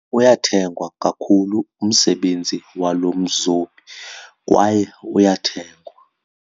Uyathengwa kakhulu umsebenzi walo mzobi kwaye uyathengwa.